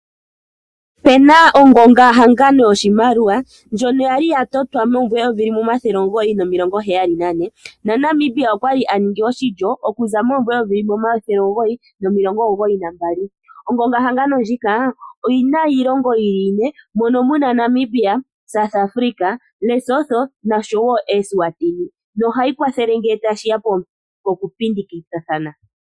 Opena ongongahangano yoshimaliwa ndjono ya li yatotwa momumvo eyovi limwe omathele omugoyi nomilongo heyali nane naNamibia okwali aningi oshilyo okuza momumvo eyovi limwe omathele omugoyi nomilongo omugoyi nambali. Ongongahangano ndjika oyi na iilongo yili ine mono muna Namibia, South Africa, Lesotho noshowo Eswatini nohayi kwathele ngele tashi ya pokupindikathana.